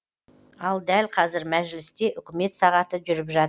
ал дәл қазір мәжілісте үкімет сағаты жүріп жатыр